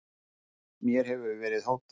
Mér hefur verið hótað